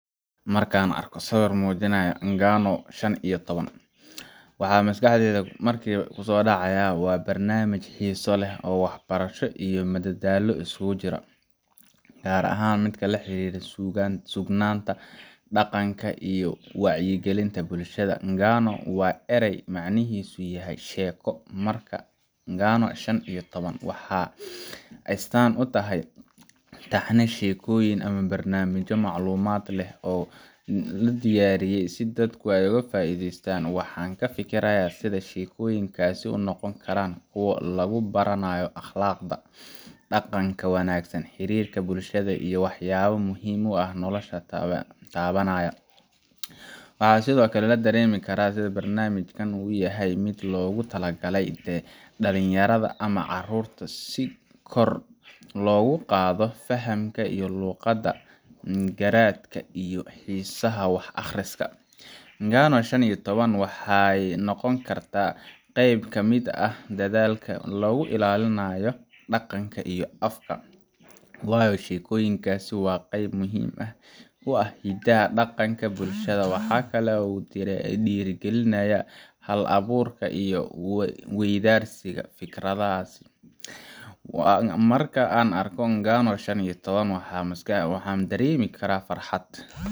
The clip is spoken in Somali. Marka aan arko sawirka Ng'ano shan iyo toban , waxa maskaxdayda markiiba ku soo dhacaya waa barnaamij xiiso leh oo waxbarasho iyo madadaalo iskugu jira, gaar ahaan mid la xiriira suugaanta, dhaqanka, iyo wacyigelinta bulshada. Ng’ano waa eray macnihiisu yahay sheeko markaa Ng'ano shan iyo toban waxay astaan u tahay taxane sheekooyin ama barnaamijyo macluumaad leh oo loo diyaariyey si dadku uga faa’iidaystaan. Waxaan ka fikirayaa sida sheekooyinkaasi u noqon karaan kuwo lagu baranayo akhlaaqda, dhaqanka wanaagsan, xiriirka bulshada, iyo waxyaabo muhiim ah oo nolosha taabanaya. Waxaa sidoo kale la dareemi karaa in barnaamijkan uu yahay mid loogu talagalay dhalinyarada ama caruurta, si kor loogu qaado fahamka luqadda, garaadka, iyo xiisaha wax akhriska. Ng'ano shan iyo toban wuxuu noqon karaa qayb ka mid ah dadaalka lagu ilaalinayo dhaqanka iyo afka – waayo sheekooyinku waa qayb muhiim u ah hiddaha iyo dhaqanka bulshada. Waxa kale oo uu dhiirrigelinayaa hal-abuurka iyo is-weydaarsiga fikradaha. Marka aan arko Ng'ano shan iyo toban, waxaan dareemaa farxad